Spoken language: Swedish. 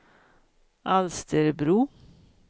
Alsterbro